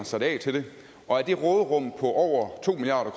sat af til det og af det råderum på over to milliard